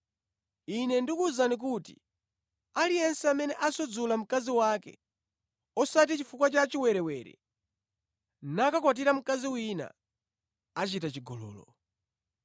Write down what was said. Ine ndikuwuzani kuti aliyense amene asudzula mkazi wake, osati chifukwa cha chiwerewere nakakwatira mkazi wina, achita chigololo.”